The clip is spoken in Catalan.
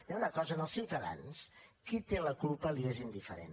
hi ha una cosa als ciutadans qui en té la culpa els és indiferent